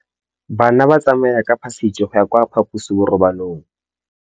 Bana ba tsamaya ka phašitshe go ya kwa phaposiborobalong.